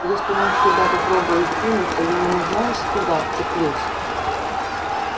если он сюда попробует сунуться я ему знаешь куда вцеплюсь